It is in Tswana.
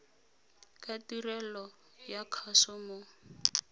ka tirelo ya kgaso o